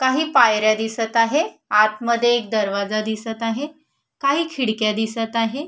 काही पायऱ्या दिसत आहे आतमध्ये एक दरवाजा दिसत आहे काही खिडक्या दिसत आहे.